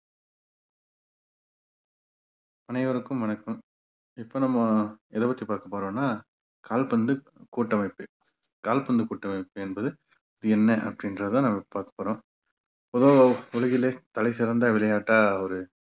அனைவருக்கும் வணக்கம் இப்ப நம்ம எதபத்தி பார்க்க போறோம்னா கால்பந்து கூட்டமைப்பு. கால்பந்து கூட்டமைப்பு என்பது என்ன அப்படின்றதுதான் நம்ம பார்க்க போறோம் பொதுவா உலகிலே தலைசிறந்த விளையாட்டா ஒரு